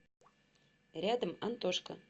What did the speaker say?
рядом антошка